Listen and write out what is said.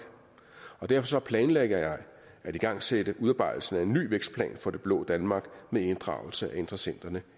derfor planlægger jeg at igangsætte udarbejdelsen af en ny vækstplan for det blå danmark med inddragelse af interessenterne